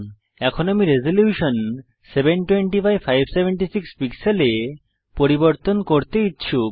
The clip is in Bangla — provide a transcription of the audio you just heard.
এখন আমি রেজল্যুশন 720576 পিক্সেলে পরিবর্তন করতে ইচ্ছুক